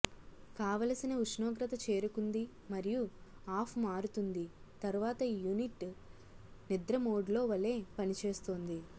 కావలసిన ఉష్ణోగ్రత చేరుకుంది మరియు ఆఫ్ మారుతుంది తర్వాత యూనిట్ నిద్ర మోడ్ లో వలె పనిచేస్తుంది